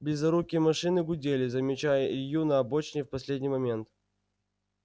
близорукие машины гудели замечая илью на обочине в последний момент